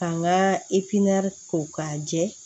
Ka n ka ko k'a jɛ